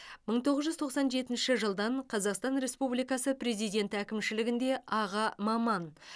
мың тоғыз жүз тоқсан жетінші жылдан қазақстан республикасы президенті әкімшілігінде аға маман